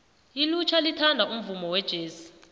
ilutjha lithanda umvumo wejesi